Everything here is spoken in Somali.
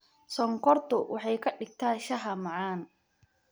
Sonkortu waxay ka dhigtaa shaaha macaan.